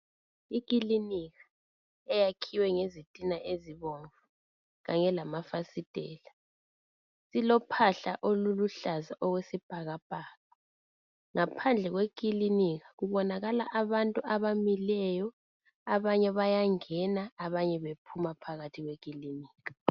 Ikilinika eyakhiwe ngezitina ezibomvu kanye lamafasitela Ilophahla oluluhlaza okwesibhakabhaka Ngaphandle kwekilinika kubonakala abantu abamileyo abanye bayangena abanye bephuma phakathi kwekilinika